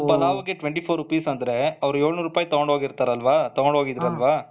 ಒಂದು ಪಲಾವ್ ಗೆ twenty four Rupee's ಅಂದ್ರೆ ಅವರು ಎಳುನೂರ್ ರುಪಾಯಿ ತೊಗೊಂಡ್ ಹೋಗಿರ್ತಾರಲ್ಲವ ತಗೊಂಡ್ ಹೋಗಿದ್ರಲ್ವಾ